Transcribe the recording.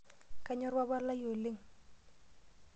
Kanyorr papa lai oleng.